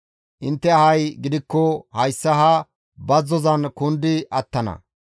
Intte ahay gidikko hayssa ha bazzozan kundi attana.